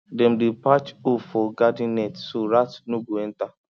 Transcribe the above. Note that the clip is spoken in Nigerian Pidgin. dem dey patch hole for garden net so rat no go enter